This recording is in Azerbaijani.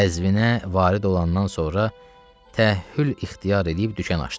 Qəzvinə varid olandan sonra təəhhül ixtiyar eləyib dükan açdı.